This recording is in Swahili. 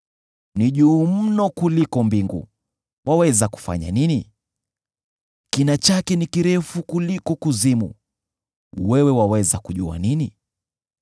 Ni juu mno kuliko mbingu: waweza kufanya nini? Kina chake ni kirefu kuliko kuzimu: wewe waweza kujua nini?